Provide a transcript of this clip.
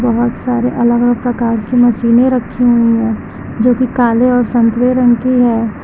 बहोत सारे अलग अलग प्रकार की मशीने रखी हुई है जोकि काले और संतरे रंग की है।